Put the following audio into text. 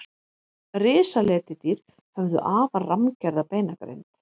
Risaletidýr höfðu afar rammgerða beinagrind.